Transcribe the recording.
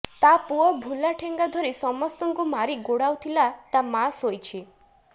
ତା ପୁଅ ଭୁଲା ଠେଙ୍ଗା ଧରି ସମସ୍ତଙ୍କୁ ମାରି ଗୋଡାଉ ଥିଲା ତା ମାଆ ଶୋଇଛି